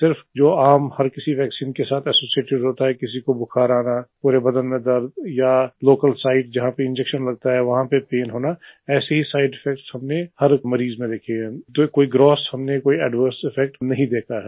सिर्फ जो आम हर किसी वैक्सीन के साथ एसोसिएटेड होता है किसी को बुखार आना पूरे बदन में दर्द या लोकल सिते जहाँ पर इंजेक्शन लगता है वहा पर पैन होना ऐसे ही साइड इफेक्ट्स हमने हर मरीज में देखे हैं जो कोई ग्रॉस हमने कोई एडवर्स इफेक्ट हमने नहीं देखा है